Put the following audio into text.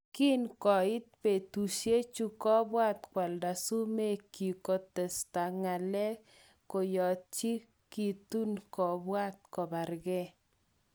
Kin kokait betushe chu, kobwat kwalda sumek kyik kinkotestai ngalek koyachekitun kobwat kobarge.